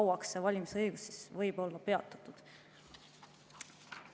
Kui kauaks see valimisõigus siis võib olla peatatud?